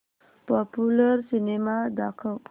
popular cinema दाखव